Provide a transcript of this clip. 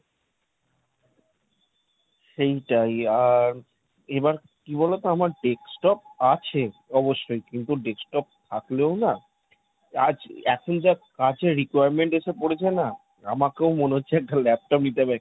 সেইটাই আর এবার কি বলতো আমার desktop আছে অবশ্যই, কিন্তু desktop থাকলেও না আজ এখন যা কাজের requirement এসে পড়েছে না, আমাকেও মনে হচ্ছে একটা laptop নিতে হবে।